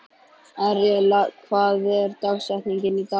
Aríella, hver er dagsetningin í dag?